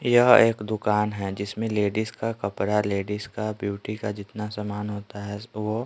यह एक दुकान है जिसमें लेडीज का कपड़ा लेडीज का ब्यूटी का जितना सामान होता है वो--